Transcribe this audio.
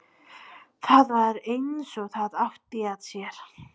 Það var eins og það átti að sér.